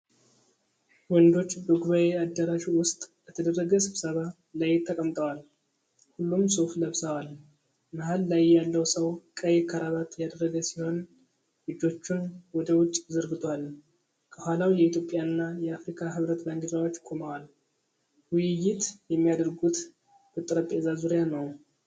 ወንዶች በጉባኤ አዳራሽ ውስጥ በተደረገ ስብሰባ ላይ ተቀምጠዋል። ሁሉም ሱፍ ለብሰዋል። መሃል ላይ ያለው ሰው ቀይ ክራቫት ያደረገ ሲሆን እጆቹን ወደ ውጭ ዘርግቶአል። ከኋላው የኢትዮጵያና የአፍሪካ ህብረት ባንዲራዎች ቆመዋል። ውይይት የሚያደርጉት በጠረጴዛ ዙሪያ ነው።